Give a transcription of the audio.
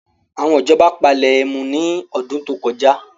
Àwọn ìjọba palẹ ẹmu ní ọdún tó kọjá